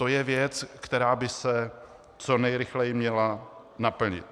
To je věc, která by se co nejrychleji měla naplnit.